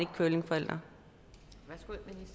curlingforældre